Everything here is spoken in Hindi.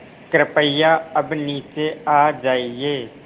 कृपया अब नीचे आ जाइये